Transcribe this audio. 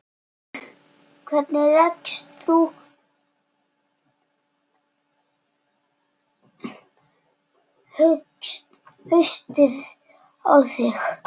Hvernig leggst haustið í þig?